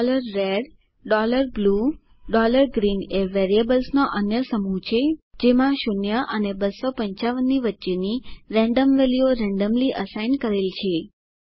red blue green એ વેરિયેબલ્સનો અન્ય સમૂહ છે જેમાં 0 અને 255 વચ્ચેની રેન્ડમ વેલ્યુઓ રેન્ડમલી અસાઇન થયેલ છે